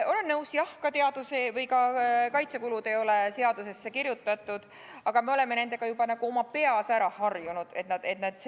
Olen nõus, jah, et kaitsekulud ei ole seadusesse kirjutatud, aga me oleme nendega oma peas juba ära harjunud, et sellised need on.